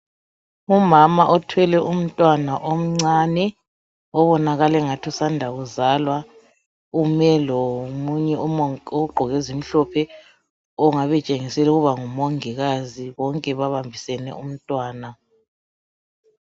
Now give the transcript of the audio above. Umama othwele umntwana omncane obonakala engathi usanda kuzalwa ume lomunye ogqoke ezimhlophe ongabe etshengisela ukuba ngumongikazi bonke babambisane umntwana.